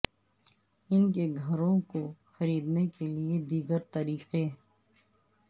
ان کے گھروں کو خریدنے کے لئے دیگر طریقے